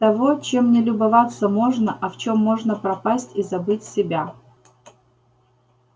того чем не любоваться можно а в чем можно пропасть и забыть себя